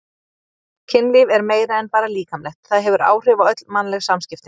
Kynlíf er meira en bara líkamlegt, það hefur áhrif á öll mannleg samskipti.